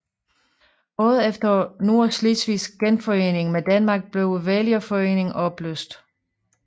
Året efter Nordslesvigs genforening med Danmark blev vælgerforeningen opløst